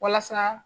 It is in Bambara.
Walasa